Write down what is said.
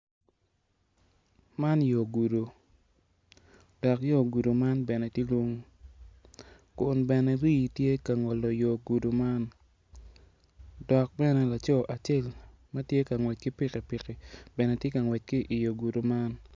Man yor gudu dok yo gudu nan bene tye lung kun bene rii tye ka ngolo yor gudu man dok bene laco acel matye ka ngwec ki pikipiki bene tye ka ngwec ki i yor gudi man